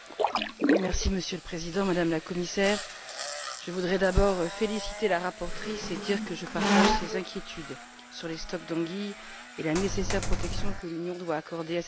Monsieur le Président, Madame la Commissaire, je voudrais d'abord féliciter la rapporteure et lui dire que je partage ses inquiétudes sur les stocks d'anguilles et sur la nécessaire protection que l'Union doit accorder à cette espèce.